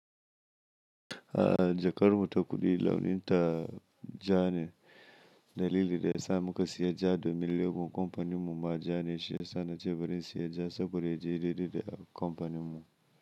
A jakar mu ta kuɗi launin ta ja ne, dalili da ya sa muka siya ja domin logo company mu ma ja ne shiyasa na ce farin siya ja saboda ya je dai dai da companin mu.